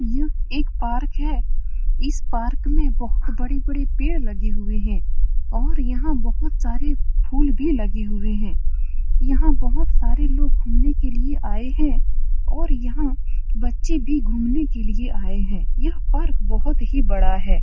यह एक पार्क है। इस पार्क में बहोत बड़ी-बड़ी पेड़ लगे हुए हैं और यहाँ बहोत सारे फूल भी लगे हुए हैं। यहाँ बहोत सारे लोग घूमने के लिए आए हैं और यहाँ बच्चे भी घूमने के लिए आए हैं। यह पार्क बहोत ही बड़ा है।